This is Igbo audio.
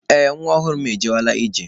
Ee, nwa ọhụrụ m agawala ije.